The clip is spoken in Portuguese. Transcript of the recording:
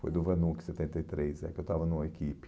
Foi do Vanuc, setenta e três né, que eu estava no equipe.